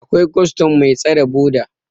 akwai custom Mai tasre boda